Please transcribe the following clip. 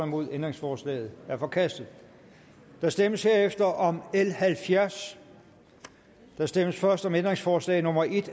nul ændringsforslaget er forkastet der stemmes herefter om l halvfjerds der stemmes først om ændringsforslag nummer en